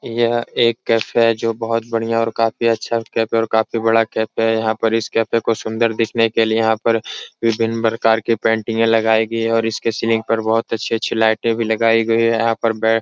यह एक कैफ़े है जो बहुत बढ़ियाँ और काफी अच्छा कैफ़े है और काफी बड़ा कैफ़े है। यहाँ पर इस कैफ़े को सुन्दर दिखने के लिये यहाँ पर विभिन्न प्रकार की पेंटिंगें लगाई गई है और इसके सीलिंग पर बहुत ही अच्छी अच्छी लाइटे भी लगाई गई है। यहाँ पर बै --